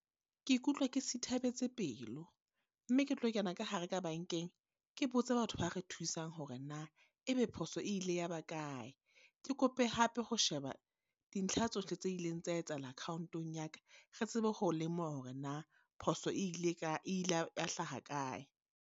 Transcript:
Ke ikutlwa ke sithabetse pelo, mme ke tlo kena ka hare ka bankeng. Ke botsa batho ba re thusang hore na, e be phoso e ile ya ba kae? Ke kope hape ho sheba dintlha tsohle tse ileng tsa etsahala account-ong ya ka. Re tsebe ho lemoha hore na phoso e ile ka, e ile ya hlaha kae?